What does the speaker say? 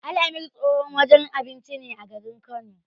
Al-amir tsohon wajen abinci ne a garin Kano.